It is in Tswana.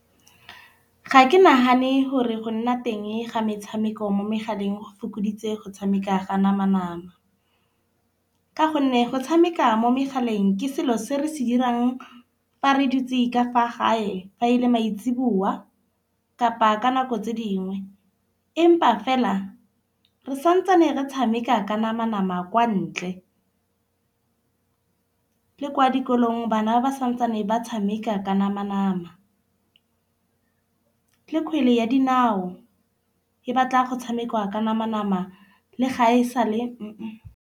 Ga ke nagane gore go nna teng ga metshameko mo megaleng go fokoditse go tshameka ga nama nama. Ka gonne go tshameka mo megaleng ke selo se re se 'irang fa re dutse ka fa gae fa e le maitsiboa kapa ka nako tse dingwe. Empa fela re santsane re tshameka ka nama nama kwa ntle. Le kwa dikolong bana ba santsane ba tshameka ka nama nama. Le kgwele ya dinao e batla go tshamekwa ka nama nama le ga e sale.